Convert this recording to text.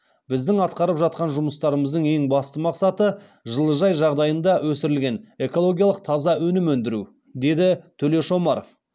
біздің атқарып жатқан жұмыстарымыздың ең басты мақсаты жылыжай жағдайында өсірілген экологиялық таза өнім өндіру деді төлеш омаров